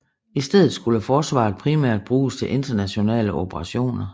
I stedet skulle Forsvaret primært bruges til internationale operationer